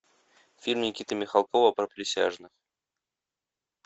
фильм никиты михалкова про присяжных